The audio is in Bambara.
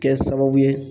Kɛ sababu ye